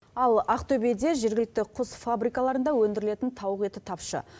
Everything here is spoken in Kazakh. ал ақтөбеде жергілікті құс фабрикаларында өндірілетін тауық еті тапшы